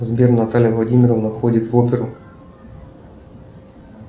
сбер наталья владимировна ходит в оперу